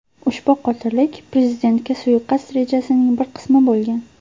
Ushbu qotillik prezidentga suiqasd rejasining bir qismi bo‘lgan.